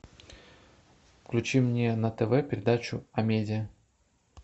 включи мне на тв передачу амедиа